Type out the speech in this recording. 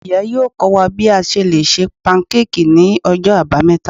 iya yọọ kọ wa bi a ṣe le ṣe pankéèkí ni Ọjọ abámeta.